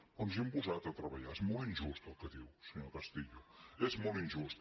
però ens hi hem posat a treballar és molt injust el que diu senyor castillo és molt injust